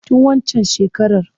Tun waccan shekarar.